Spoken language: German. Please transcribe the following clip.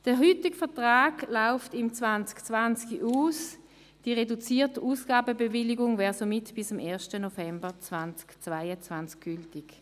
Der heutige Vertrag läuft im 2020 aus, die reduzierte Ausgabenbewilligung wäre somit bis am 1. November 2022 gültig.